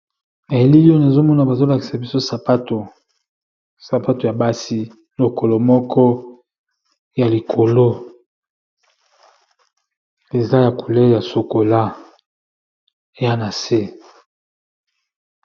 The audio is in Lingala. Elili oyo nazomona bazolakisa biso sapato, sapato ya basi lokolo moko ya likolo eza ya couleur ya chokola eza na se.